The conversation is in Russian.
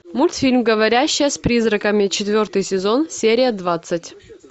мультфильм говорящая с призраками четвертый сезон серия двадцать